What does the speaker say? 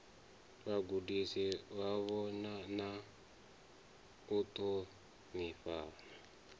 vhagudisi vhavho na u ṱhonifhana